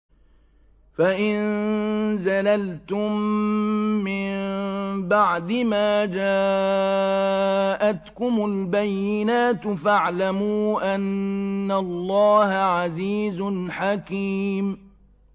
فَإِن زَلَلْتُم مِّن بَعْدِ مَا جَاءَتْكُمُ الْبَيِّنَاتُ فَاعْلَمُوا أَنَّ اللَّهَ عَزِيزٌ حَكِيمٌ